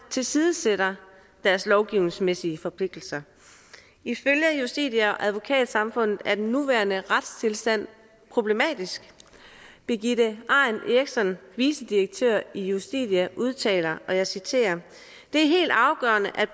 tilsidesætter deres lovgivningsmæssige forpligtelser ifølge justitia og advokatsamfundet er den nuværende retstilstand problematisk birgitte arent eiriksson vicedirektør i justitia udtaler og jeg citerer det er helt afgørende at